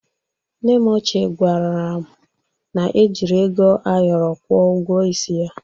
Nne m ochie kwara m na-ejiri ego ayọrọ gwọ ụgwọ isi ya.